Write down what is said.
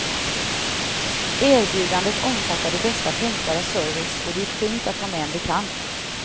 Erbjudandet omfattade bästa tänkbara service och det gick fint att ta med en bekant.